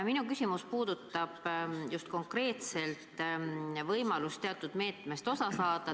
Minu küsimus puudutab konkreetselt võimalust teatud meetmest osa saada.